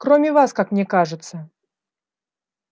кроме вас как мне кажется